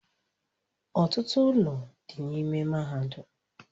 Ọtụtụ ụlọ dị n'ime mahadum